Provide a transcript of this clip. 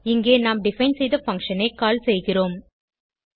இங்கே நாம் டிஃபைன் செய்த பங்ஷன் ஐ கால் செய்கிறோம்